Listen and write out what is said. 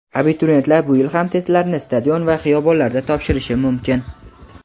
Abituriyentlar bu yil ham testlarni stadion va xiyobonlarda topshirishi mumkin.